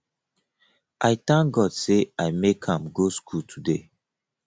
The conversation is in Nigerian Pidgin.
i thank god say i make am go school today